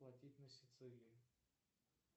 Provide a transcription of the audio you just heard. платить на сицилии